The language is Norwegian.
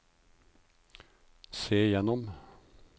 se gjennom